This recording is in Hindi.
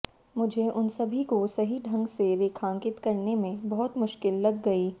मुझे उन सभी को सही ढंग से रेखांकित करने में बहुत मुश्किल लग गई